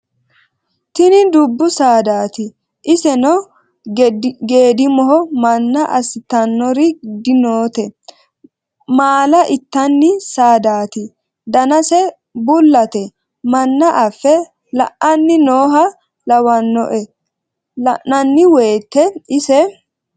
tini dubbu saadaati iseno geedimoho manna assitannori dinoote maala intanni saadaati danase bullate manna affe la'anni nooha lawanno la'nanni woyte ise